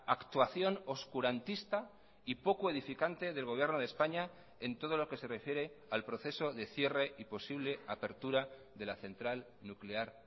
actuación oscurantista y poco edificante del gobierno de españa en todo lo que se refiere al proceso de cierre y posible apertura de la central nuclear